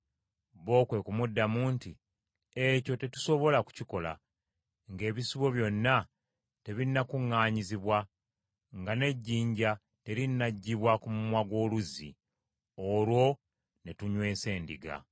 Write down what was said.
Bo kwe kumuddamu nti, “Ekyo tetusobola kukikola ng’ebisibo byonna tebinnakuŋŋaanyizibwa, nga n’ejjinja terinaggyibwa ku mumwa gw’oluzzi, olwo ne tunywesa endiga.”